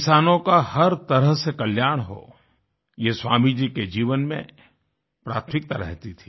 किसानों का हर तरह से कल्याण हो ये स्वामी जी के जीवन में प्राथमिकता रहती थी